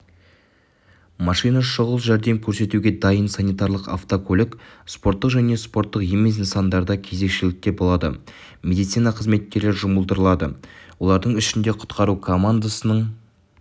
машина шұғыл жәрдем қорсетуге дайын санитарлық автокөлік спорттық және спорттық емес нысандарда кезекшілікте болады медицина қызметкерлері жұмылдырылады олардың ішінде құтқару командасының